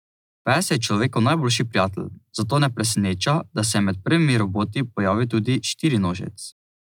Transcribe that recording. Pes je človekov najboljši prijatelj, zato ne preseneča, da se je med prvimi roboti pojavil tudi štirinožec.